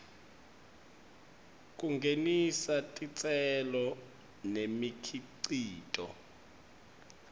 kungenisa titselo nemikhicito